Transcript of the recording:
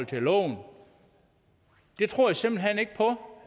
til loven det tror jeg simpelt hen ikke på